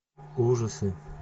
ужасы